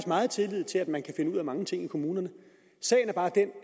meget tillid til at man kan finde ud af mange ting i kommunerne sagen er bare den